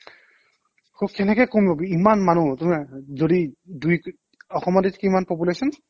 সৌ কেনেকে কমিব কি ইমান মানুহ যদি দুই অসমতে কিমান population?